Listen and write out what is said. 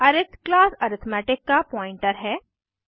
अरिथ class arithmetic का pointer है